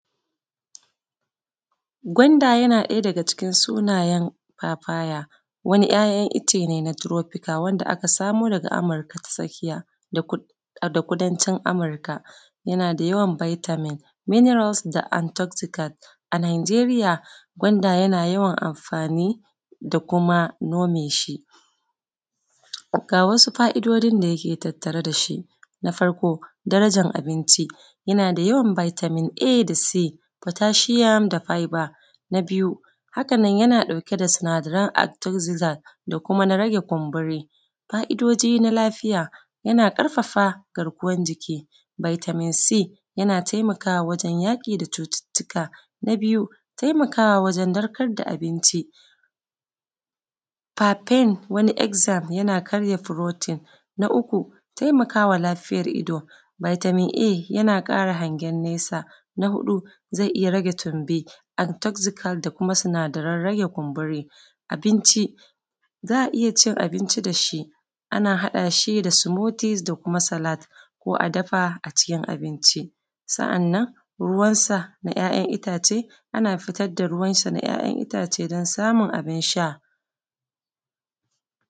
Ɓangaren karban haihuwa a asibiti suna ƙara inganta da kuma ba da shawarwari a kan shayar da nonon uwa da kuma tallafi na madara da za a iya amfani da ita domin inganta lafiyar jariri. Ta hanya ta farko shi ne, tara iyaye tare da yi masu bita akan abun da ya shafi yadda ya kamata ma su shayar da nonon wato su a jiye yaron a yayin shayar da nonon uwa da kuma yanayin yadda ya kamata su ba yaron nonon a lokacin da yake tsotsa sannan kuma suna ba da tallafi na wasu irin madara da kuma wasu kayan da irin na ciye-ciye da ake ba yaron a matsayin shi na jariri wanda za su taimaka mai wajen inganta garkuwar jikin shi domin kara lafiya.